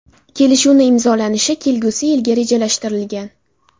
Kelishuvni imzolanishi kelgusi yilga rejalashtirilgan.